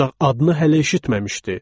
Ancaq adını hələ eşitməmişdi.